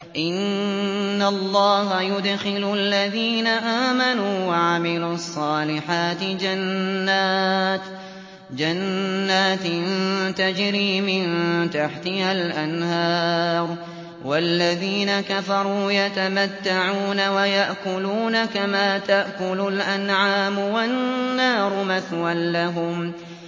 إِنَّ اللَّهَ يُدْخِلُ الَّذِينَ آمَنُوا وَعَمِلُوا الصَّالِحَاتِ جَنَّاتٍ تَجْرِي مِن تَحْتِهَا الْأَنْهَارُ ۖ وَالَّذِينَ كَفَرُوا يَتَمَتَّعُونَ وَيَأْكُلُونَ كَمَا تَأْكُلُ الْأَنْعَامُ وَالنَّارُ مَثْوًى لَّهُمْ